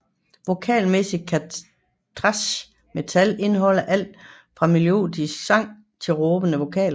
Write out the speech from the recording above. Vokalmæssigt kan thrash metal indeholde alt fra melodisk sang til råbende vokaler